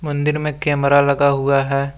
मंदिर में कैमरा लगा हुआ है।